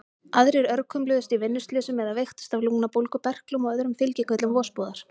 Aðrir örkumluðust í vinnuslysum eða veiktust af lungnabólgu, berklum og öðrum fylgikvillum vosbúðar.